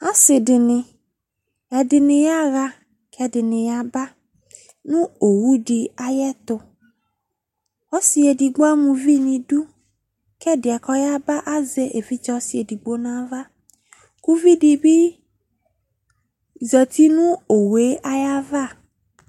Asi di ni, ɛdi ni yaɣa k'ɛdi ni yaba nʋ owu di ayɛtʋ Ɔsi edigbo ama uvi ni du kʋ ɛdiɛ kɔyaba azɛ evidze ɔsi ɛdigbo nʋ ava, kʋ uvi di bi zati nʋ owu yɛ ayava